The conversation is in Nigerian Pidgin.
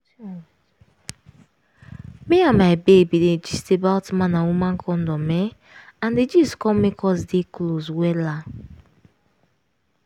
me and my babe been dey gist about man and woman condom[um]and di gist come make us dey close wella